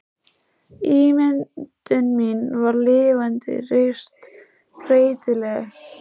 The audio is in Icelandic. Ímyndun mín var lifandi, reist, breytileg.